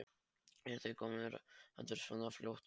Eruð þið komnir aftur svona fljótt?